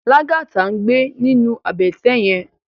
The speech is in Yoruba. Lagata n gbé ninú àbètè yèn